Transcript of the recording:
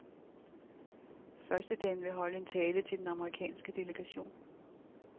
Førstedamen vil holde en tale til den amerikanske delegation.